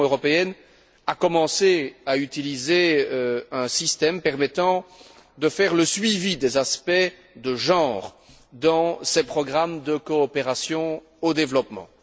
L'Union européenne a commencé à utiliser un système permettant de faire le suivi des aspects de genre dans ces programmes de coopération au développement.